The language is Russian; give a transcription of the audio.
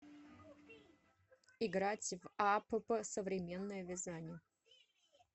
играть в апп современное вязание